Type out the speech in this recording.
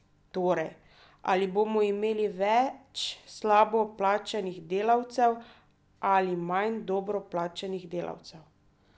Torej, ali bomo imeli več slabo plačanih delavcev ali manj dobro plačanih delavcev?